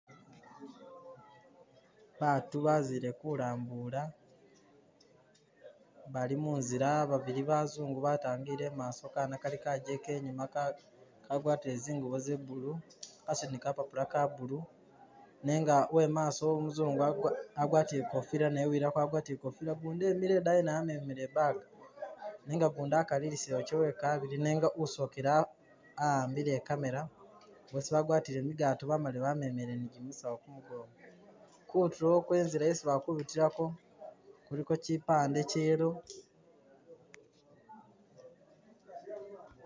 Batu bazile kulambuula, bali munzila babili bazungu batangile imaso Kana kali kagyeke inyuma kagwatile zingubo za blue, kasudile ni kapapula ka blue. nenga uwe maso umuzungu agwatile i'kofila naye uwilako agwatile i'kofila gundi wemile idaayi naye amemile i'bag nenga gundi akalilisile wake wekabili nenga usokile ahambile i'camera boosi bagwatile migato bamali bamemile ni gimisawu ku mugongo. Kutulo kwenzila isi bali kubitilako, kuliko kyipande kya yellow.